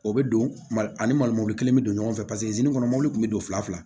O bɛ don mali ani mali mɔbili kelen bɛ don ɲɔgɔn fɛ paseke kɔnɔ mɔbili kun bɛ don fila fila